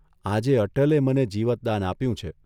આજે અટલે મને જીવતદાન આપ્યું છે.